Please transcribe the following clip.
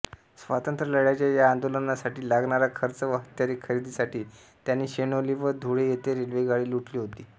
स्वातंत्र्यलढ्याच्या या आंदोलनासाठी लागणारा खर्च व हत्यारे खरेदीसाठी त्यांनी शेणोली व धुळेयेथे रेल्वेगाडी लुटली होती